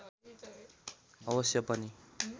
अवश्य पनि